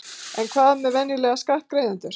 En hvað með venjulega skattgreiðendur?